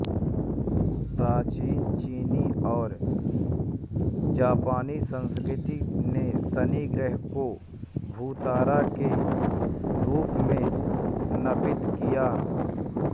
प्राचीन चीनी और जापानी संस्कृति ने शनि ग्रह को भूतारा के रूप में नामित किया